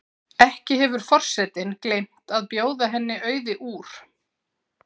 Ekki hefur forsetinn gleymt að bjóða henni Auði úr